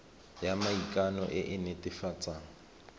ya maikano e e netefatsang